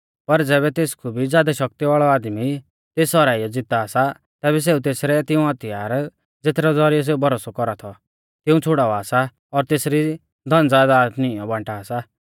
पर ज़ैबै तेसकु भी ज़ादौ शक्ति वाल़ौ आदमी तेस हराइयौ ज़ीता सा तैबै सेऊ तेसरै तिऊं हथियार ज़ेथरै ज़ौरिऐ सेऊ भरोसौ कौरा थौ तिऊं छ़ुड़ावा सा और तेसरी धनज़यदाद नींऔ बांटा सा